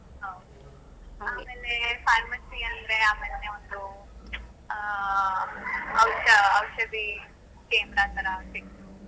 ಹೌದು. ಆಮೇಲೆ pharmacy ಅಂದ್ರೆ ಆಮೇಲೆ ಒಂದು ಅಹ್ ಔಷ~ ಔಷಧಿ ಕೇಂದ್ರ ಥರ .